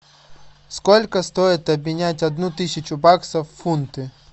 сколько стоит обменять одну тысячу баксов в фунты